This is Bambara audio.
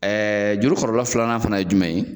juru kɔlɔlɔ filanan fana ye jumɛn ye?